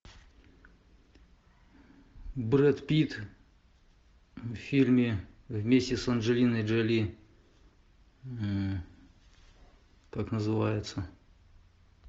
брэд питт в фильме вместе с анджелиной джоли как называется